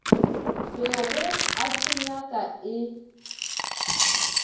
bego a se nyaka e